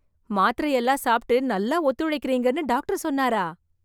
மாத்திரை எல்லாம் சாப்ட்டு நல்லா ஒத்துழைக்கறீங்கன்னு டாக்டர் சொன்னாரா...